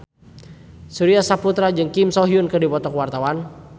Surya Saputra jeung Kim So Hyun keur dipoto ku wartawan